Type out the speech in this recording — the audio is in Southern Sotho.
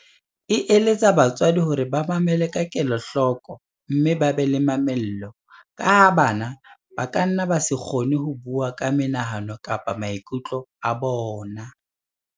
E eletsa batswadi hore ba mamele ka kelohloko mme ba be le mamello, ka ha bana ba kanna ba se kgone ho bua ka menahano kapa maiku tlo a bona.